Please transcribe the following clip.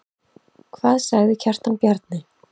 Hvað sagði Kjartan Bjarni?